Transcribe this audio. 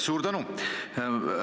Suur tänu!